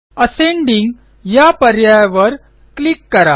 ascending या पर्यायावर click करा